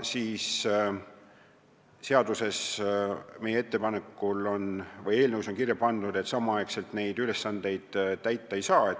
Meie ettepanekul on eelnõus kirja pandud, et samaaegselt neid ülesandeid täita ei tohi.